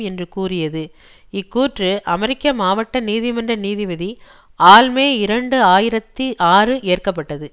என்று கூறியது இக்கூற்று அமெரிக்க மாவட்ட நீதிமன்ற நீதிபதி ஆல் மே இரண்டு ஆயிரத்தி ஆறு ஏற்க பட்டது